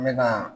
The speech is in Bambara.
N bɛ ka